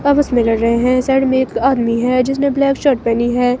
आपस में लड़ रहे है साइड में एक आदमी है जिसने ब्लैक शर्ट पहनी है.